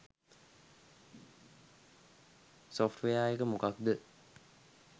Software එක මොකක්ද?